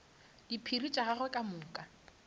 diphiri tša gagwe ka moka